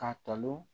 K'a tanu